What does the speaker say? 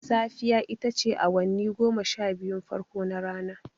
Safiya ita ce awanni goma sha biyun farko na rana.